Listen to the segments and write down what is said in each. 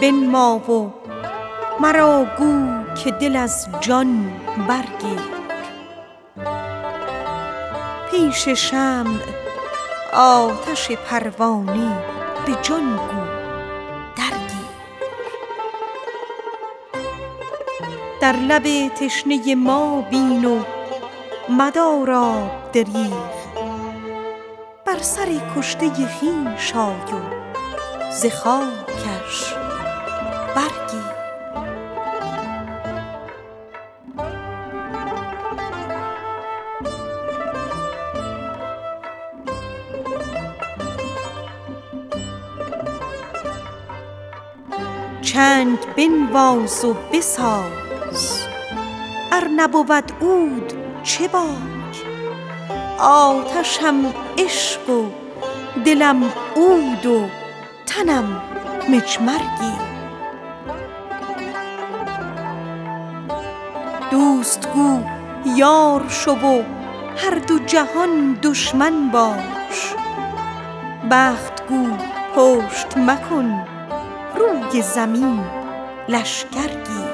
روی بنما و مرا گو که ز جان دل برگیر پیش شمع آتش پروانه به جان گو درگیر در لب تشنه ما بین و مدار آب دریغ بر سر کشته خویش آی و ز خاکش برگیر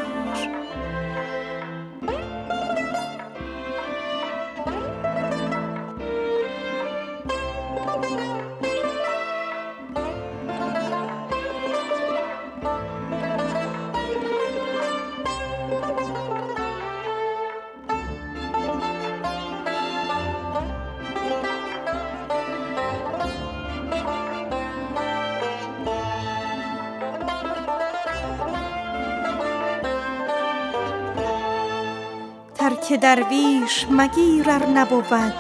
ترک درویش مگیر ار نبود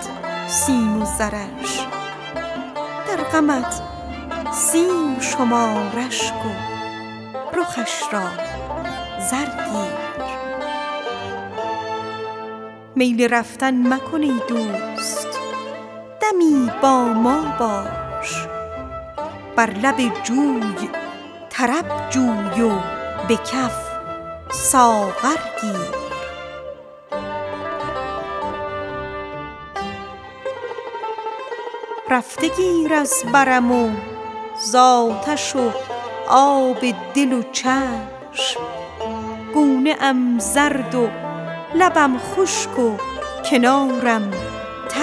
سیم و زرش در غمت سیم شمار اشک و رخش را زر گیر چنگ بنواز و بساز ار نبود عود چه باک آتشم عشق و دلم عود و تنم مجمر گیر در سماع آی و ز سر خرقه برانداز و برقص ور نه با گوشه رو و خرقه ما در سر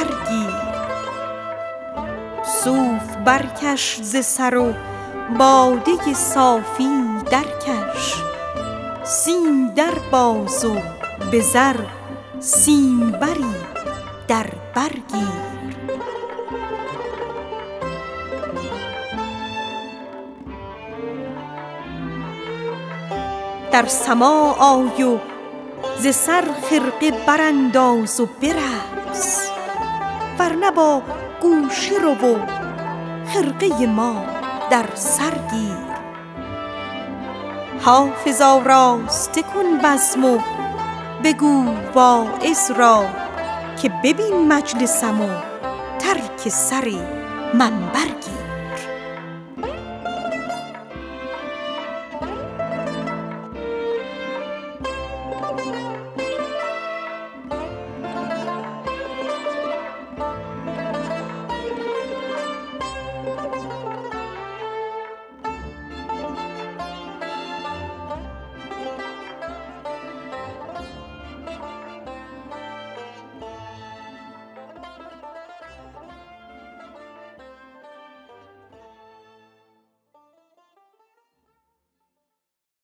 گیر صوف برکش ز سر و باده صافی درکش سیم در باز و به زر سیمبری در بر گیر دوست گو یار شو و هر دو جهان دشمن باش بخت گو پشت مکن روی زمین لشکر گیر میل رفتن مکن ای دوست دمی با ما باش بر لب جوی طرب جوی و به کف ساغر گیر رفته گیر از برم و زآتش و آب دل و چشم گونه ام زرد و لبم خشک و کنارم تر گیر حافظ آراسته کن بزم و بگو واعظ را که ببین مجلسم و ترک سر منبر گیر